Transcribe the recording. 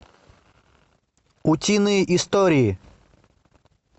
утиные истории